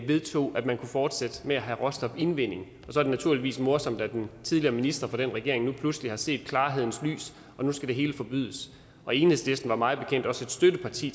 vedtog at man kunne fortsætte med at have råstofindvinding så er det naturligvis morsomt at den tidligere minister i den regering nu pludselig har set klarhedens lys og nu skal det hele forbydes enhedslisten var mig bekendt også et støtteparti